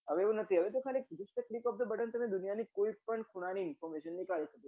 હવે એવું નથી હવે તો just click off the button ખાલી દુનિયાની કોઈ પણ information નીકાળી શકો